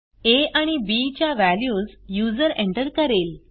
आ आणि बी च्या values user enter करेल